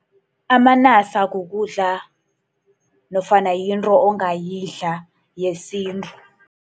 Amanasa kukudla nofana yinto ongazidla yesintu.